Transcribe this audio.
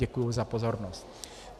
Děkuji za pozornost.